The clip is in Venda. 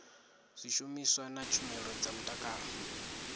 zwishumiswa na tshumelo dza mutakalo